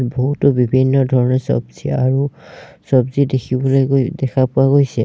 বহুতো বিভিন্ন ধৰণৰ চব্জি আৰু চব্জি দেখিবলৈ গৈ দেখা পোৱা গৈছে।